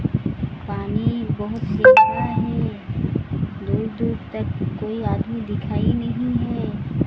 पानी बहुत बह रहा है दूर दूर तक कोई आदमी दिखाई नहीं है।